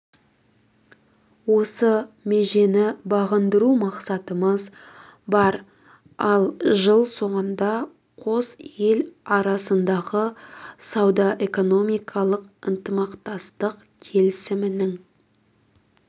осы межені бағындыру мақсатымыз бар ал жыл соңында қос ел арасындағы сауда-экономикалық ынтымақтастық келісімінің